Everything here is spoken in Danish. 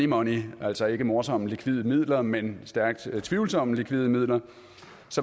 money altså ikke morsomme likvide midler men stærkt tvivlsomme likvide midler